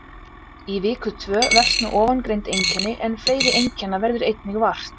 Í viku tvö versna ofangreind einkenni en fleiri einkenna verður einnig vart.